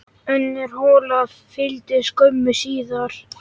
Önnur hola fylgdi skömmu síðar.